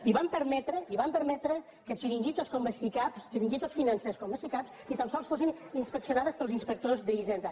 i van permetre i van permetre que xiringuitos com les sicav xiringuitos financers com les sicav ni tan sols fossin inspeccionades pels inspectors d’hisenda